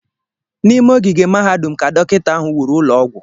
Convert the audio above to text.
N'ime ogige mahadum ka Dọkịta ahụ wuru ụlọ ọgwụ